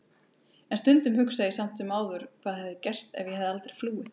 En stundum hugsa ég samt sem áður hvað hefði gerst ef ég hefði aldrei flúið.